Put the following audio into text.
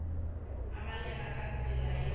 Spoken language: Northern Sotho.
e balega ka tsela ye